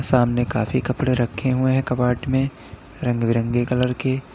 सामने काफी कपड़े रखे हुए हैं कबड में रंग बिरंगे कलर के।